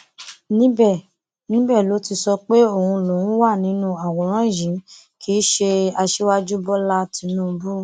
níbẹ níbẹ ló ti sọ pé òun lòún wà nínú àwòrán yìí kì í ṣe aṣíwájú bọlá tínúbù